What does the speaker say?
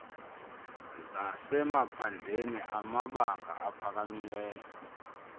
zasemaphandleni amabanga aphakamileyo